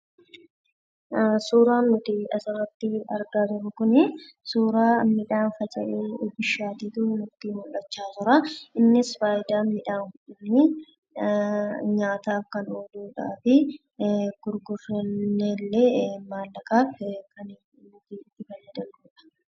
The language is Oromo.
Suuraan nuti asirratti argaa jirru kunii suuraa midhaan faca'ee bishaatetu natti mul'achaa jiraa, innis faayidaan midhaan kunii, nyaataaf kan ooludhafi gurguranneellee mallaqaan itti fayyadamna.